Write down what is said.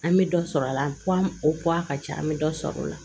An bɛ dɔ sɔrɔ a la o a ka ca an bɛ dɔ sɔrɔ o la